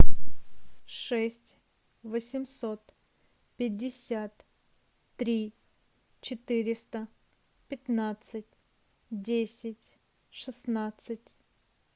шесть восемьсот пятьдесят три четыреста пятнадцать десять шестнадцать